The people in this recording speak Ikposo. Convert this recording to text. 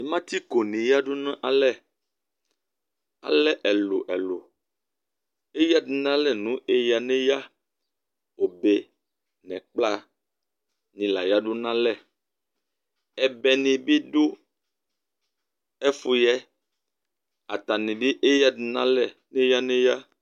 Matsiko yadu nu alɛ ɔlɛ ɛlu ɛlu éyadu nalɛ éya né ya obé nɛ ɛkpla ni la yadu na alɛ ɛbɛ ni bi du ɛfu yɛ atani bi éyadu nu alɛ néya néya